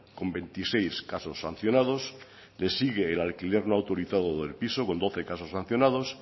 con veintiséis casos sancionados le sigue el alquiler no autorizado del piso con doce casos sancionados